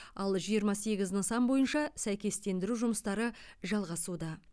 ал жиырма сегіз нысан бойынша сәйкестендіру жұмыстары жалғасуда